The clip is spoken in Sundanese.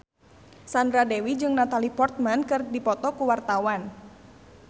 Sandra Dewi jeung Natalie Portman keur dipoto ku wartawan